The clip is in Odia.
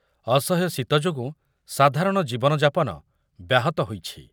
ଅସହ୍ୟ ଶୀତ ଯୋଗୁଁ ସାଧାରଣ ଜୀବନ ଯାପନ ବ୍ୟାହତ ହୋଇଛି ।